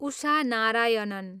Usha Narayanan